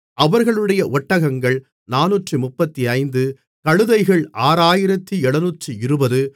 அவர்களுடைய ஒட்டகங்கள் 435 கழுதைகள் 6720